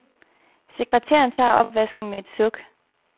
Sekretæren tager opvasken med et suk.